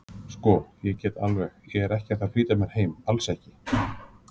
Sko. ég get alveg. ég er ekkert að flýta mér heim, alls ekki.